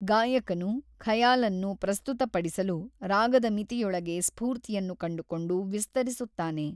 ಗಾಯಕನು ಖಯಾಲ್ ಅನ್ನು ಪ್ರಸ್ತುತ ಪಡಿಸಲು ರಾಗದ ಮಿತಿಯೊಳಗೆ ಸ್ಫೂರ್ತಿಯನ್ನು ಕಂಡುಕೊಂಡು ವಿಸ್ತರಿಸುತ್ತಾನೆ.